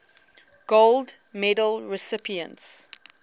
gold medal recipients